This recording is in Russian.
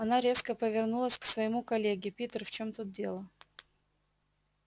она резко повернулась к своему коллеге питер в чём тут дело